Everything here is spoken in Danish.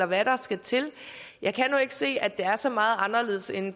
hvad der skal til jeg kan nu ikke se at det er så meget anderledes end i